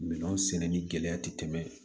Minɛnw sɛnɛ ni gɛlɛya ti tɛmɛ